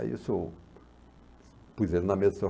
Aí isso, eu pus ele na mesa